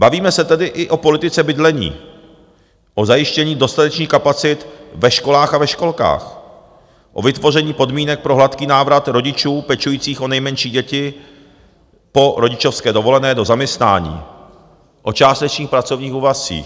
Bavíme se tedy i o politice bydlení, o zajištění dostatečných kapacit ve školách a ve školkách, o vytvoření podmínek pro hladký návrat rodičů pečujících o nejmenší děti po rodičovské dovolené do zaměstnání, o částečných pracovních úvazcích.